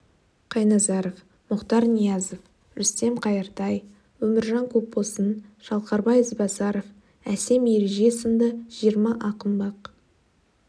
қайназаров мұхтар ниязов рүстем қайыртай өміржан көпбосын шалқарбай ізбасаров әсем ереже сынды жиырма ақын бақ